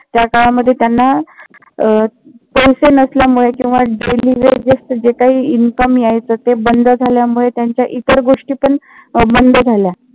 त्याकालामध्ये त्यांना pension नसल्यामुळे किंवा daily vages जे काही income यायचं ते बंद झाल्यामुळे, त्यांच्या इतर गोष्टी पण बंद झाल्या